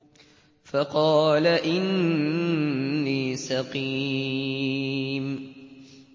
فَقَالَ إِنِّي سَقِيمٌ